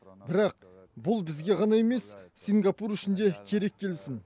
бірақ бұл бізге ғана емес сингапур үшін де керек келісім